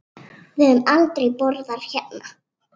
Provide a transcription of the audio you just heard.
Við höfum aldrei borðað hérna.